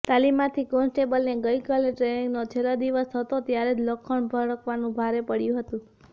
તાલિમાર્થી કોન્સ્ટેબલને ગઇકાલે ટ્રેનિંગનો છેલ્લો દિવસ હતો ત્યારે જ લખણ ઝળકાવવાનું ભારે પડયું હતું